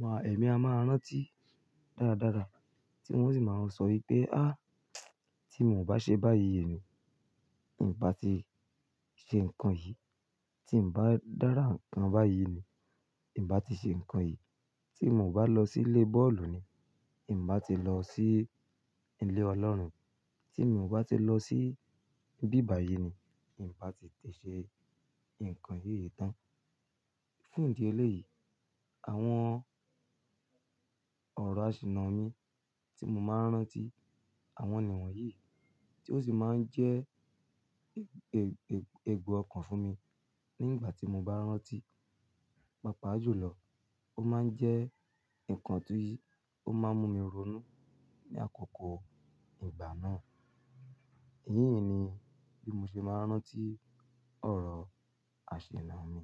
Wa, èmi a máa rántí dáradára tí wọ́n sì máa sọ wípé "a tí mi ò bá ṣe báyìí yìí ni, ì bá ti ṣe nǹkan yìí, tí mo bá dára nǹkan báyìí yìí ni, ì bá ti ṣe nǹkan yìí, tí mo ò bá lọ sí ilé bọ́ọ̀lù ni, ìn bá ti lọ sí ilé Ọlọ́run, tí mo ò bá ti lọ sí ibí bàyi ni, in bá ti tẹ̀ ṣe nǹkan yìí tán." Fún ìdí eléyìí, àwọn ọ̀rọ̀ àṣìná mi tí mo máa ń rántí, àwọn ni wọ̀nyí tí ó sì máa ń jẹ́ è-è-èègbo ọkàn fún mi nígbà tí mo bá rántí, pàápàá jùlọ ó máa ń jẹ́ nǹkan ti yí, ó máa ń mú mi ronú ní àkókò ìgbà náà. Èyín ni bí mo ṣe máa ń rántí ọ̀rọ̀ àṣìná mi.